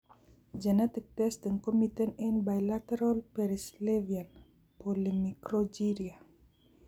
Genetic testing komiten eng' biletaral perisylvanian polymicrogyria